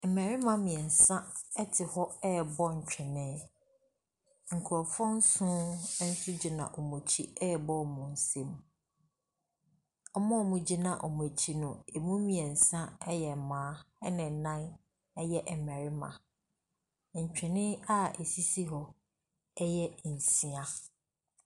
Mmarima mmeɛnsa te hɔ rebɔ ntwene nkurɔfoɔ nson nso gyina wɔn akyi rebɔ wɔn nsam. Wɔn a wɔgyina wɔn akyi no, ɛmu mmeɛnsa yɛ mmaa, ɛnna nnam yɛ mmarima. Ntwene a ɛsisi hɔ yɛ nsia.